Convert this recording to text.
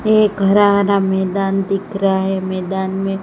एक हरा हरा मैदान दिख रहा है मैदान में--